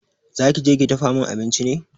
Za ki je ki dafa min abinci ne?